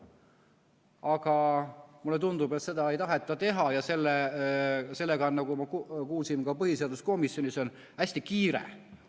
Aga mulle tundub, et seda ei taheta teha, ja sellega on, nagu me kuulsime, ka põhiseaduskomisjonis hästi kiire.